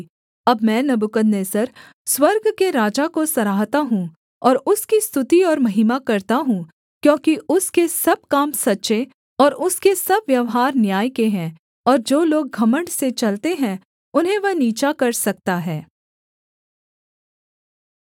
अब मैं नबूकदनेस्सर स्वर्ग के राजा को सराहता हूँ और उसकी स्तुति और महिमा करता हूँ क्योंकि उसके सब काम सच्चे और उसके सब व्यवहार न्याय के हैं और जो लोग घमण्ड से चलते हैं उन्हें वह नीचा कर सकता है